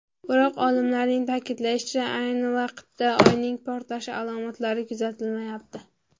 Biroq, olimlarning ta’kidlashicha, ayni vaqtda Oyning portlashi alomatlari kuzatilmayapti.